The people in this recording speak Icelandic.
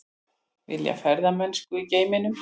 Vilja ferðamennsku í geimnum